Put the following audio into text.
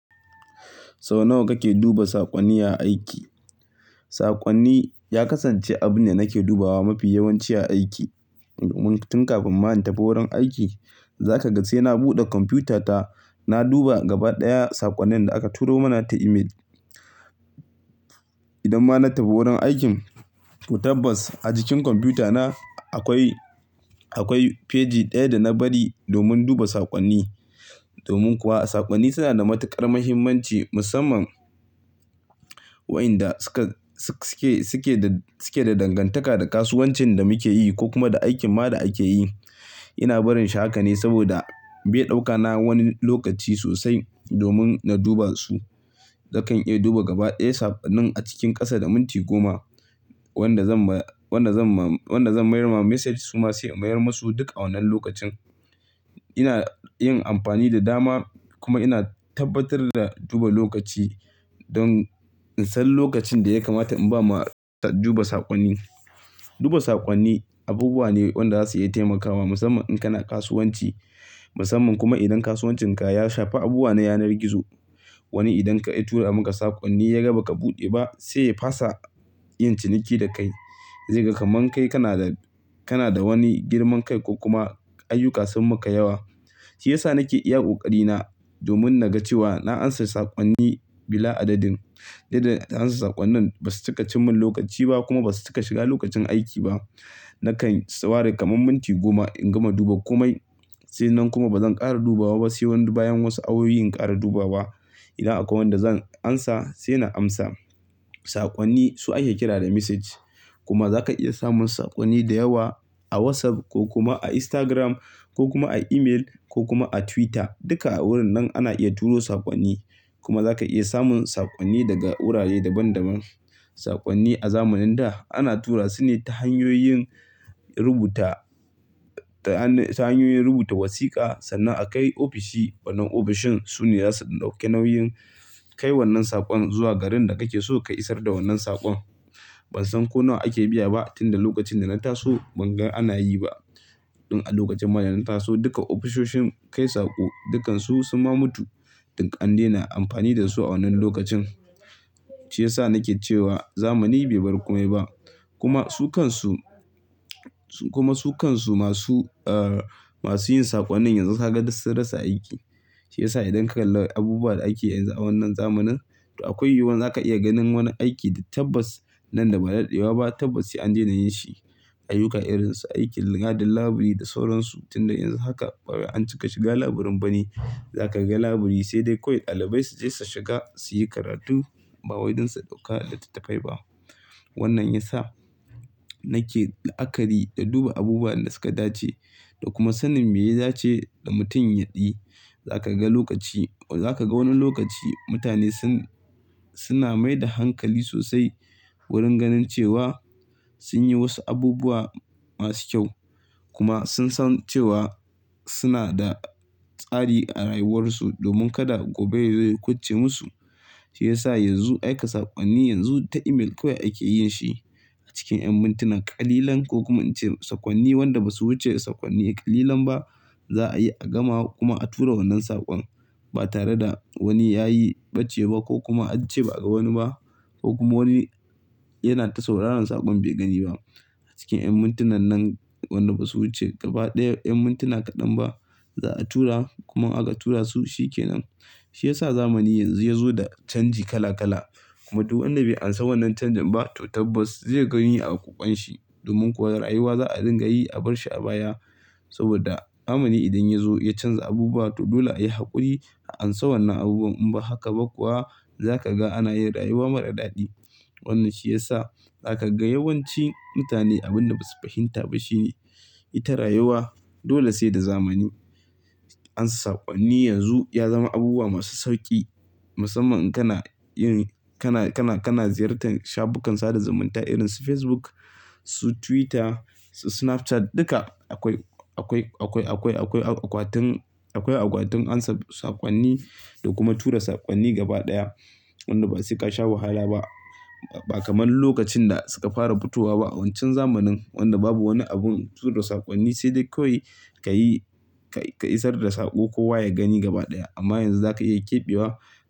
Sau nawa kake duba saƙonni a aiki? Saƙonni ya kasance abu ne da nake dubawa mafi yawanci a aiki. Tun kafin ma in tafi wurin aiki, za ka ga sai na buɗe kwamfutata. Na duba gaba ɗaya saƙonnin da aka turo mana ta imel. Idan ma na tafi wurin aikin to tabbas a jikin kwamfutana akwai, akwai feji ɗaya da na bari domin duba saƙonni domin kuwa saƙonni suna da matuƙar mahimmanci musamman wayin da su ke da su ke da dangantaka da kasuwancin da muke yi ko kuma da aikinma da muke yi ina barin shi haka ne saboda bai ɗauka na wani lokaci sosai domun na duba su. Na kan iya duba gaba ɗaya sakonnin a cikin ƙasa da minti goma wanda zan ma wanda zan ma wanda zan mayar ma message suma sai in mayar masu duk a wannan lokacin ina yin amfani da dama kuma ina tabbatar da duba lokaci don in san lokacin da ya kamata in ba ma duba saƙonni. Duba saƙonni abubuwa ne wanda za su iya taimakawa musamman in kana kasuwanci. Musamman kuma idan kasuwancinka ya shafi abubuwa na yanar gizo. Wani idan ka ya tura maka saƙonni yaga baka buɗe ba sai ya fasa yin ciniki da kai ze ga ka man kai kana da, kana da wani girman kai ko kuma ayyuka sun maka yawa. Shi ya sa nake iya ƙoƙari na domin na ga cewa na ansa saƙonni bila adadin. Yadda amsa saƙonnin basu cika cimman lokaci ba kuma basu cika shiga lokacin aiki ba nakan sa ware kaman minti goma in gama duba komai se nan kuma ba zan ƙara dubawa ba se bayan wasu awoyi in ƙara dubawa idan akwai wanda zan asa sai na amsa. Saƙonni su ake kira da message kuma za ka iya samun saƙonni da yawa a WhatsApp ko kuma a Instagram ko kuma a email ko kuma a Twitter. Duka a wurin nan ana iya turo saƙonni kuma za ka iya samun saƙonni daga wurare daban daban. Saƙonni a zamanin da ana tura su ne ta hanyoyin rubuta, ta hanyoyin rubuta wasiƙa sannan a kai ofishi. Wannan ofishin su ne za su ɗauke nauyin kai wannan saƙon zuwa garin da kake so ka isar da wannan saƙon. Ban san ko nawa ake biya ba tun da lokacin da na taso ban ga ana yi ba. Tun a lokacin ma taso duka ofisoshin kai saƙo dukansu sun ma mutu dik ande na amfani da su a wannan lokacin. Shi ya sa nake cewa zamani be bar kome ba. Kuma su kan su, su kuma su kan su masu, masu yin saƙonnin yanzu ka ga dus sun rasa aiki. Shi ya sa idan kalla abubuwan da ake yanzu a wannan zamanin to akwai yiwuwan za ka iya ganin wani aiki da tabbas nan da ba da daɗewa ba tabbas sai an daina yin shi. Ayyuka irin su aikin gadin laburi da sauransu. Tinda yanzu haka ba wai an cika shiga laburin ba ne. Za ka ga laburi se de kawai ɗalibai su je su shiga su yi karatu ba wai dan su ɗauka tattafai ba. Wannan ya sa nake la'akari da duba abubuwa wa yan da suka dace da kuma sanin me ya dace da mutum ya yi za ka ga lokaci za ka ga wani lokaci mutane sun, suna mai da hankali sosai wurin ganin cewa sun yi wasu abubuwa masu kyau kuma sun san cewa suna da tsari a rayuwarsu domin kada gobe yazo ya kuce musu. Shi ya sa yanzu aika saƙonni yanzu ta email kawai ake yin shi. Cikin ƴan muntina ƙalilan ko kuma in ce saƙonni wanda ba su wuce saƙonni ƙalilan ba za a yi a gama kuma a tura wannan saƙon ba tare da wani ya yi bacce ba ko kuma an ce ba a ga wani ba ko kuma wani yana ta sauraran saƙon bai gani ba. A cikin ƴan mintunan nan waɗanda ba su wuce gaba ɗaya ƴan mintuna kaɗan ba za a tura kuma aka tura su shi ke nan. Shi ya sa zamani yanzu ya zo da chanji kala kala. Kuma du wanda bai ansa wannan canjin ba to tabbas zai ga yin a ƙokwanshi domin kuwa rayuwa za a dinga yi a bar shi a baya. Saboda zamani idan yazo ya canza abubuwa to dole a yi haƙuri a ansa wannan abubuwan in ba haka ba kuwa za ka ga ana yin rayuwa mara daɗi. Wannan shi ya sa za ka ga yawanci mutane abin da ba su fahinta ba shi ne ita rayuwa dole sai da zamani. Ansa saƙonni yanzu ya zama abubuwa masu sauki musamman in kana yin, kana, kana, kana ziyartar shafukan sada zumunta irin su Facebook, su Twitter, su Snapchat dika akwai, akwai, akwai, akwai, akwai akwatin, akwai akwatin ansa saƙonni da kuma tura saƙonni gaba ɗaya wanda ba se kasha wahala ba. Ba kaman lokacin da suka fara fitowa ba a wancan zamanin wanda babu wani abun tura saƙonni sai dai kawai ka yi, ka isar da saƙo kowa ya gani gaba ɗaya amma yanzu za ka iya ƙiɓewa.